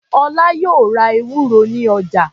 Ọlá yóò ra ewúro ní ọjà.